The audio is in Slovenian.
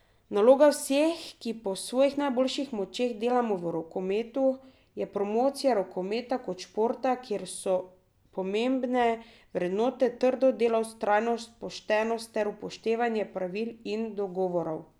Naloga vseh, ki po svojih najboljših močeh delamo v rokometu, je promocija rokometa kot športa, kjer so pomembne vrednote trdo delo, vztrajnost, poštenost ter upoštevanje pravil in dogovorov.